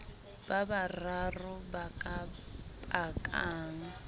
ba bararo ba ka pakang